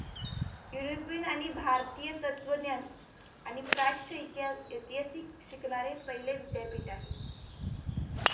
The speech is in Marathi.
युरोपियन आणि भारतीय तत्त्वज्ञान आणि पाश्च ऐतिहासिक शिकणारे पहिले विद्यापीठ आहे